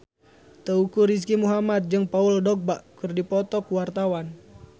Teuku Rizky Muhammad jeung Paul Dogba keur dipoto ku wartawan